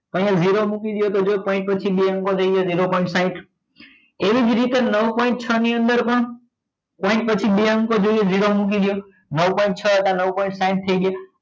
અહિયાં zero મૂકી દઈએ તો જો point પછી બે અંકો થઇ જશે zero point સાહીંઠ એવી જ રીતે નવ point છ ની અંદર પણ point પછી બે અંકો જોઈએ zero મૂકી દો નવ point છ હતા નવ point સાહીંઠ થઇ ગયા